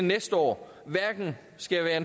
lade stå